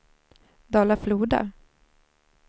Dala-Floda